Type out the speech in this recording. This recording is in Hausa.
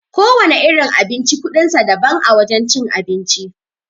Kowana irin abinci kuɗin sa daban a wajen cin abinci.